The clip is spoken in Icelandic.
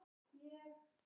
Svona, já.